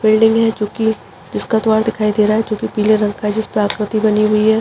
Building है चूँकि जिसका द्वार दिखाई दे रहा है जोकि पीले रंग का है जिसपे आकृति बनी हुई हैं।